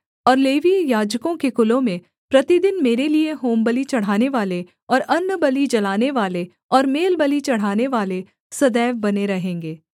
और लेवीय याजकों के कुलों में प्रतिदिन मेरे लिये होमबलि चढ़ानेवाले और अन्नबलि जलानेवाले और मेलबलि चढ़ानेवाले सदैव बने रहेंगे